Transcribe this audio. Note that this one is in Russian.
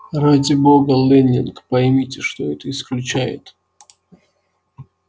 ради бога лэннинг поймите что это исключает